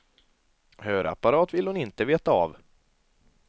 Hörapparat vill hon inte veta av.